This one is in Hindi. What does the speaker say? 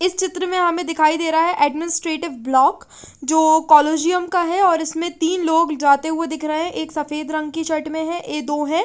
इस चित्र में हमें दिखाई दे रहा है एडमिनिस्ट्रेटिव ब्लॉक जो कोलोजीयम का है और इसमें तीन लोग जाते हुए दिख रहे हैं। एक सफेद रंग की शर्ट में है ये दो है।